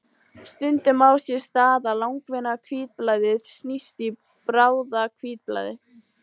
Stundum á sér stað að langvinna hvítblæðið snýst í bráða-hvítblæði.